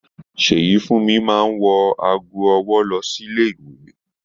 Seyifunmi máa n wọ aago ọwọ lọ sílé ìwé